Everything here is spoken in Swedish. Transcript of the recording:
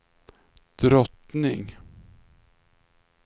drottning